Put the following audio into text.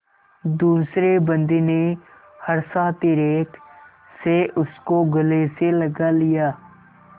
दूसरे बंदी ने हर्षातिरेक से उसको गले से लगा लिया